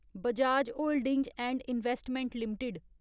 Bajaj Holdings and Investment limited